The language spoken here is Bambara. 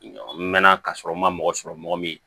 N mɛn na ka sɔrɔ n ma mɔgɔ sɔrɔ mɔgɔ min